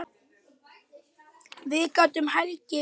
Við gátum hlegið saman.